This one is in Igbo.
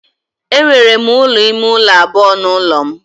Enwere m ụlọ ime ụlọ abụọ n'ụlọ m